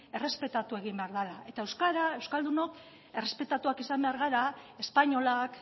errespetatu egin behar dela eta euskaldunok errespetatuak izan behar gara espainolak